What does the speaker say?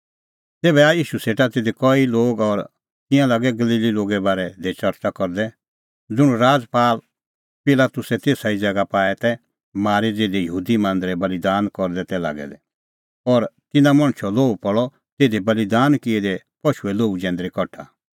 तेभै आऐ ईशू सेटा तिधी कई लोग और तिंयां लागै गलीली लोगे बारै दी च़रच़ा करदै ज़ुंण राजपाल पिलातुसै तेसा ई ज़ैगा पाऐ तै मारी ज़िधी यहूदी मांदरै बल़ीदान करदै तै लागै दै और तिन्नां मणछो लोहू पल़अ तिधी बल़ीदान किऐ दै पशूए लोहू जैंदरी कठा